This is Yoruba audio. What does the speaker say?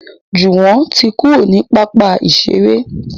Juwon ti kúrò ní pápá iṣere